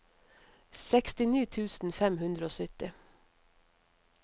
sekstini tusen fem hundre og sytti